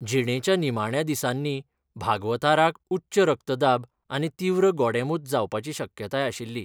जिणेच्या निमाण्या दिसांनी बागवथाराक उच्च रक्तदाब आनी तीव्र गोडेंमूत जावपाची शक्यताय आशिल्ली.